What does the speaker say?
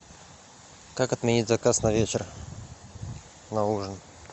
как отменить заказ на вечер на ужин